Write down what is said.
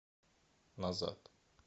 назад